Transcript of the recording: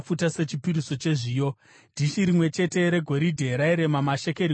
dhishi rimwe chete regoridhe rairema mashekeri gumi, rizere nezvinonhuhwira;